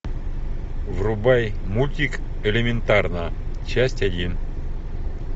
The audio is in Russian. врубай мультик элементарно часть один